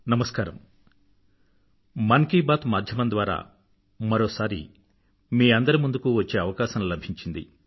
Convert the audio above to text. నమస్కారం మన్ కీ బాత్ మాధ్యమం ద్వారా మరోసారి మీ అందరి ముందుకూ వచ్చే అవకాశం లభించింది